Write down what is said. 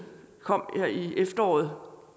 kom her i efteråret